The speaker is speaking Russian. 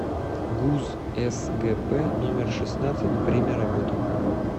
гуз сгп номер шестнадцать время работы